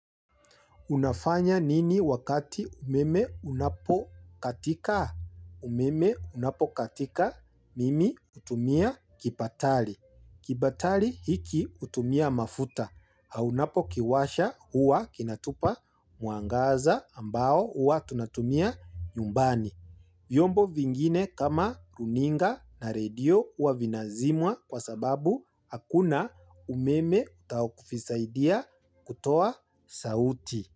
Unafanya nini wakati umeme unapo katika? Umeme unapo katika, mimi hutumia kipatali. Kipatali hiki hutumia mafuta. Na unapo kiwasha huwa kinatupa mwangaza ambao huwa tunatumia nyumbani. Vyombo vingine kama runinga na radio huwa vinazimwa kwa sababu hakuna umeme utawasaidia kutoa sauti.